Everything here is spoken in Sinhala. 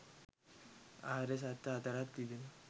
ආර්ය සත්‍ය හතරක් තිබෙනවා.